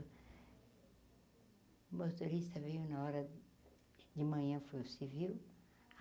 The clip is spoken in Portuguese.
O motorista veio na hora de manhã foi o civil.